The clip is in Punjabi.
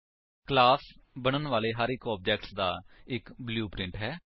ਕਲਾਸ ਬਣਨ ਵਾਲੇ ਹਰ ਇੱਕ ਆਬਜੇਕਟ ਦਾ ਇੱਕ ਬਲੂਪ੍ਰਿੰਟ ਹੈ